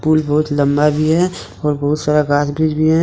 Pool बहोत लंबा भी है और बहुत सारा भी है।